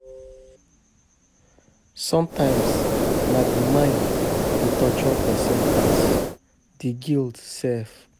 Somtimes na di mind dey torture pesin pass di guilt sef